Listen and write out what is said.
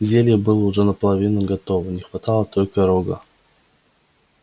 зелье было уже наполовину готово не хватало только рога